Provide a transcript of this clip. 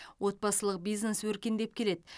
отбасылық бизнес өркендеп келеді